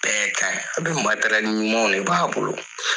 Bɛɛ k'a a bɛ ɲumanw de b'a bolo.